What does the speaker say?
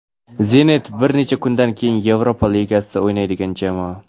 "Zenit" bir necha kundan keyin Yevropa Ligasida o‘ynaydigan jamoa.